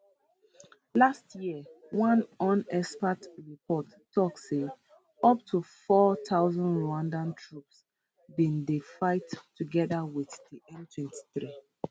last year one un expert report tok say up to 4000 rwandan troops bin dey fight togeda wit di m23